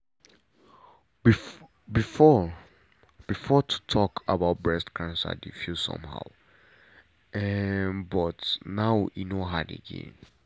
before before to talk about breast cancer dey feel somehow um but now e no hard again.